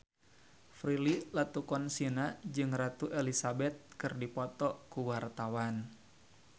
Prilly Latuconsina jeung Ratu Elizabeth keur dipoto ku wartawan